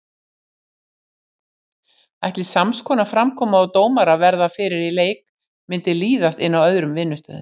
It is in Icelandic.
Ætli samskonar framkoma og dómarar verða fyrir í leik myndi líðast inn á öðrum vinnustöðum?